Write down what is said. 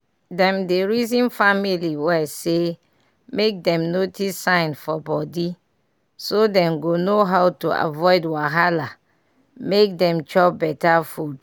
dem dey reason family well say make dem notice sign for body so dem go know how to aviod wahala make dem chop better food.